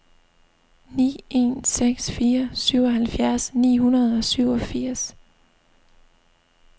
ni en seks fire syvoghalvfjerds ni hundrede og syvogfirs